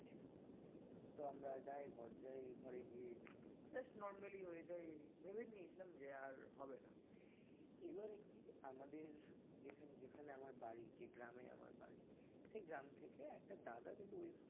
তো আমরা যাই ঘর যাই ঘরে গিয়ে কিন্তু just normally হয়ে যাই ভেবেই নিয়েছিলাম দেওয়ার হবে না এবারে কি আমাদের যেখানে আমার বাড়ি যে গ্রাম সেই গ্রাম থেকে একটা দাদা কিন্তু ওই